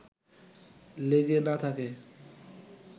লেগে না থাকে